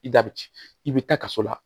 I da bi i bi taa kaso la